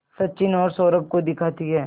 सचिन और सौरभ को दिखाती है